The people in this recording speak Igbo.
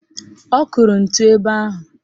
Ọ kụrụ ntu ebe ahụ